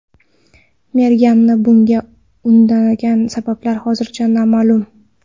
Merganni bunga undagan sabablar hozircha noma’lum.